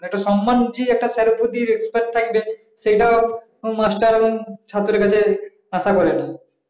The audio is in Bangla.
একটা সম্মান দিয়ে sir এর প্রতি respect থাকবে সেটাও মাস্টার এবং ছাত্রের কাছেও আশা করেন না